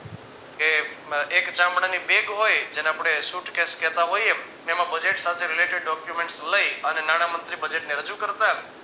કે એક ચામડાની bag હોય જેને આપડે suitcase કેહતા હોઈએ ને એમાં budget સાથે related documents લઈ અને નાણામંત્રી budget ને રજુ કરતા